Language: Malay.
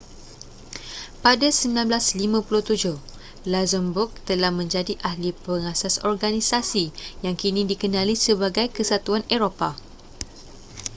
pada 1957 luxembourg telah menjadi ahli pengasas organisasi yang kini dikenali sebagai kesatuan eropah